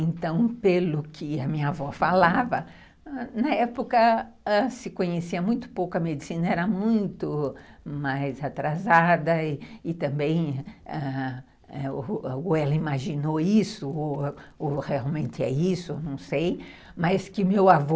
Então, pelo que a minha avó falava, na época se conhecia muito pouco a medicina, era muito mais atrasada e também ou ela imaginou isso ou realmente é isso, não sei, mas que meu avô...